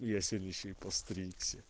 и сегодня ещё и постригся